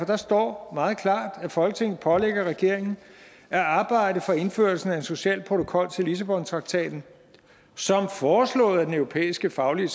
der står meget klart at folketinget pålægger regeringen at arbejde for indførelsen af en social protokol til lissabontraktaten som foreslået af den europæiske faglige